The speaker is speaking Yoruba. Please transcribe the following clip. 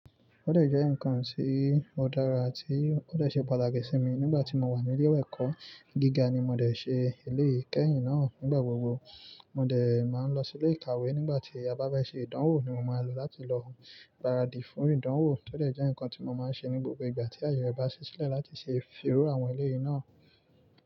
Ó dẹ̀ jẹ́ nǹkan tí ó dára, tí ó dẹ̀ ṣe pàtàkì sí mi nígbà tí mo wà ní ilé ẹ̀kọ́ gíga ni mo dẹ̀ ṣe eléyìí kẹ́yìn náà, nígbà gbogbo mo dẹ̀ máa ń lọ sí ilé ìkàwé nígbà tí a bá bá fẹ́ ṣe ìdánwò ni mo máa ń lọ láti lọ gbaradi fún ìdánwò, tó dẹ̀ jẹ́ nǹkan tí mo máa ń ṣe ní gbogbo ìgbà tí àyè rẹ̀ bá ṣí sílẹ̀ láti ṣe firú àwọn eléyìí náà.